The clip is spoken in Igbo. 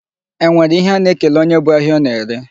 E nwere ihe a na-ekele onye bu ahịa ọ na-ere?